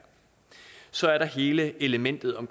så er der hele elementet om